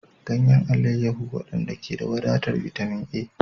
Ganyen alayyahu, waɗanda ke da wadatar bitamin A.